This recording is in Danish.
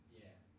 Ja